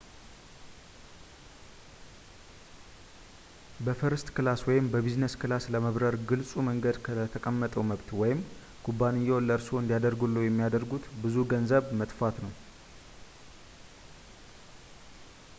በፈርስት ክላስ ወይም በቢዝነስ ክላስ ለመብረር ግልፁ መንገድ ለተጠቀሰው መብት ወይም፣ ኩባንያዎን ለእርስዎ እንዲያደርግልዎ የሚያደርጉት ብዙ ገንዘብን መትፋት ነው